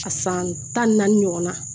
A san tan ni naani ɲɔgɔn na